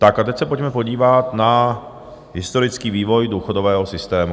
Tak a teď se pojďme podívat na historický vývoj důchodového systému.